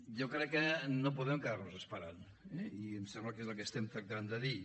jo crec que no podem quedar nos esperant eh i em sembla que és el que estem tractant de dir